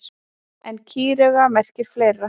En kýrauga merkir fleira.